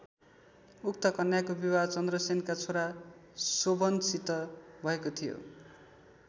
उक्त कन्याको विवाह चन्द्रसेनका छोरा शोभनसित भएको थियो।